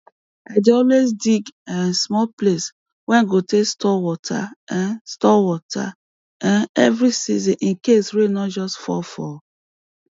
i dey always dig um small place wey go tey store water um store water um every season incase rain no just fall for